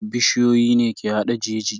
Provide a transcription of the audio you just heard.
Bishiyoyi ne ke hada jeji.